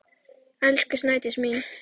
Elsku Snædís mín.